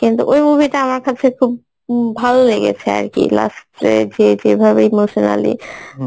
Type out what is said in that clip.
কিন্তু ওই movie টা আমার কাছে খুব ভাল লেগেছে আর কি last এ যে যে ভাবে emotionally